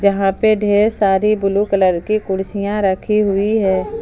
यहां पे ढेर सारी ब्लू कलर की कुर्सियां रखी हुई है।